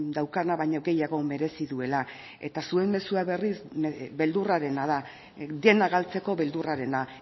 daukana baino gehiago merezi duela eta zuen mezua berriz beldurrarena da dena galtzeko beldurrarena